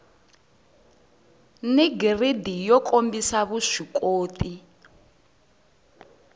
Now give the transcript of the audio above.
ni giridi yo kombisa vuswikoti